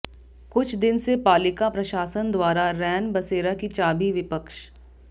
कुछ दिन से पालिका प्रशासन द्वारा रैन बसेरा की चाबी विपक्ष